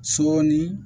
Sɔɔni